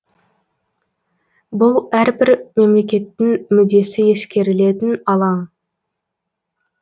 бұл әрбір мемлекеттің мүддесі ескерілетін алаң